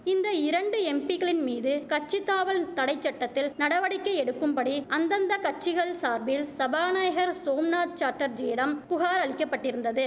இந்த இரண்டு எம்பிகளின்மீது கட்சி தாவல் தடைச்சட்டத்தில் நடவடிக்கை எடுக்கும்படி அந்தந்த கட்சிகள் சார்பில் சபாநாயகர் சோம்நாத் சாட்டர்ஜியிடம் புகார் அளிக்கப்பட்டிருந்தது